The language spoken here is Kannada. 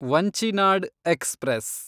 ವಂಚಿನಾಡ್ ಎಕ್ಸ್‌ಪ್ರೆಸ್